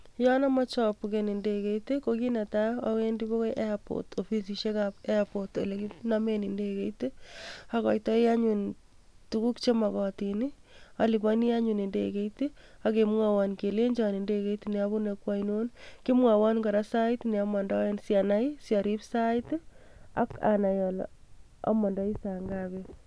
Yon imoche obuken indekeit ko kiit netaa owendi bakai airport ofisishekab airport olekinomen indekeit, akoitoi tukuk chemokotin oliponi anyun indekeit ak kemwowon kelenjin indekeit neobune kwainon, kimwowon kora sait ne omondoen sianai siorib sait ak anai olee omondoi saa ngapi.